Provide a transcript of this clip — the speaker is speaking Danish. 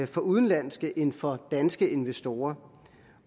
for udenlandske end for danske investorer